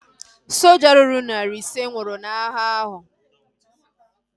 Soja ruru narị ise nwụrụ n'agha ahu